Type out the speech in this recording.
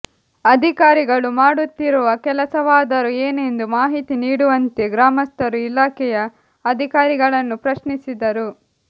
ಅಧಿಕಾರಿಗಳು ಮಾಡುತ್ತಿರುವ ಕೆಲಸವಾದರೂ ಏನೆಂದು ಮಾಹಿತಿ ನೀಡುವಂತೆ ಗ್ರಾಮಸ್ಥರು ಇಲಾಖೆಯ ಅಧಿಕಾರಿಗಳನ್ನು ಪ್ರಶ್ನಿಸಿದರು